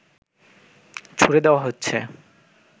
ছুড়ে দেওয়া হচ্ছে